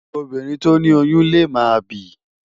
Óbírìn tó ni óyùn lé má bìí